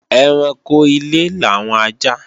Ẹranko ilé làwọn ajá